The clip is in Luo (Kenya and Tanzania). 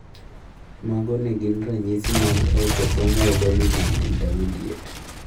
Mage magin ranyisi mag Autosomal dominant intermediate